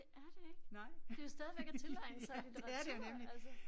Nej. Ja det er det jo nemlig